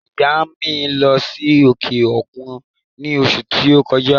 ìyá à mi lọ́ sí òkè òkun ní òṣù ti o kọjá.